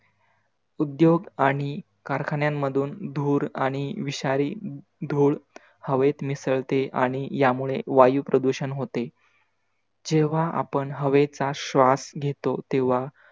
उद्योग आणि कारखान्यांमधून धूर आणि विषारी धूळ हवेत मिसळते आणि यामुळे वायू प्रदूषण होते. जेव्हा आपण हवेचा श्वास घेतो तेव्हा.